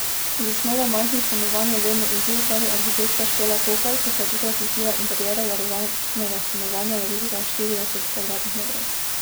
Zasnova majhnih stanovanj je vedno izziv, pravi arhitektka Špela Kokalj, ki se je tokrat lotila interierja varovanega stanovanja, velikega štirideset kvadratnih metrov.